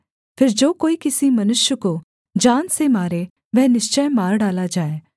फिर जो कोई किसी मनुष्य को जान से मारे वह निश्चय मार डाला जाए